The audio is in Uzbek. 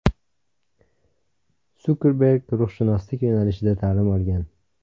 Sukerberg ruhshunoslik yo‘nalishida ta’lim olgan.